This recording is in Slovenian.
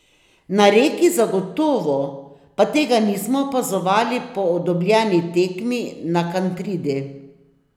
Na Reki zagotovo, pa tega nismo opazovali po dobljeni tekmi na Kantridi.